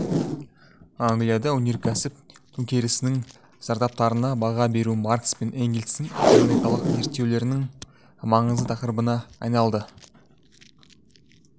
англияда өнеркәсіп төнкерісінің зардаптарына баға беру маркс пен энгельстің экономикалық зерттеулерінің маңызды тақырыбына айналды